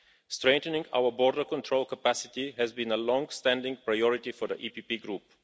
Strengthening our border control capacity has been a longstanding priority for the PPE Group.